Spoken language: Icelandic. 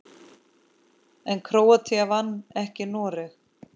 En Króatía vann ekki Noreg.